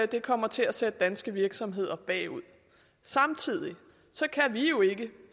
det kommer til at sætte danske virksomheder bagud samtidig kan vi jo ikke